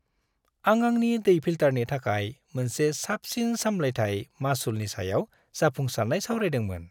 आं आंनि दै फिल्टारनि थाखाय मोनसे साबसिन सामलायथाय मासुलनि सायाव जाफुंसारनाय सावरायदोंमोन।